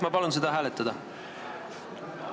Ma palun seda hääletada!